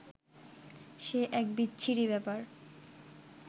সে এক বিচ্ছিরি ব্যাপার